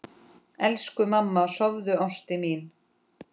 Elsku mamma, sofðu, ástin mín.